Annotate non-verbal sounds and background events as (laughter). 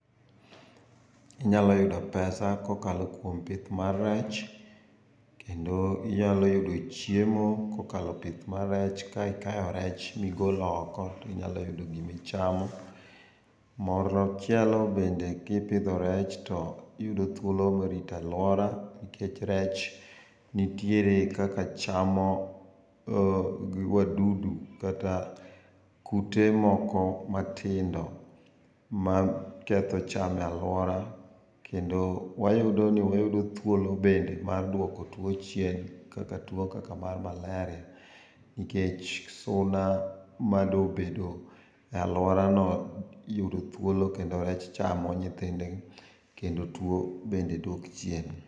Inyalo yudo pesa kokalo kuom pith mar rech, kendo inyalo yudo chiemo kokalo pith mar rech ka ikayo rech ma igolo oko inyalo yudo gima ichamo. Moro (inaudible) bende kipidho rech tiyudo thuolo mar rito aluora nikech rech nitiere kaka chamo wadudu kata kute moko matindo maketho cham e aluora. Kendo wayudo ni wayudo thuolo bende mar duoko tuo chien, kaka tuo kaka mar malaria nikech suna madobedo e aluorano yudo thuolo kendo rech chamo nyithindgi kendo tuo bende dok chien